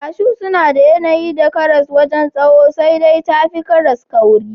Kashu suna da yanayi da karas wajen tsawo sai dai tafi karas kauri.